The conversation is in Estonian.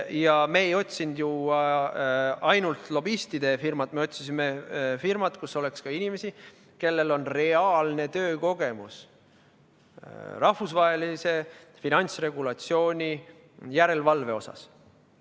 Ja me ei otsinud ju lobistide firmat, me otsisime firmat, kus oleks ka inimesi, kellel on reaalne töökogemus rahvusvahelise finantsregulatsiooni järelevalve osas.